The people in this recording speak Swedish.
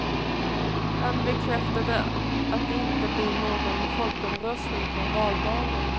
Han bekräftade att det inte blir någon folkomröstning på valdagen.